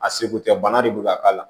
A seko tɛ bana de bɛ ka k'a la